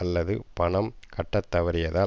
அல்லது பணம் கட்டத்தவறியதால்